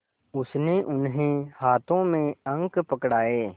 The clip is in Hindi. उसने उन्हें हाथों में अंक पकड़ाए